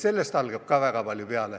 " Sellest algab väga palju.